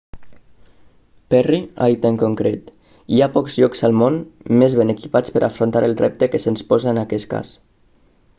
perry ha dit en concret hi ha pocs llocs al món més ben equipats per a afrontar el repte que se'ns posa en aquest cas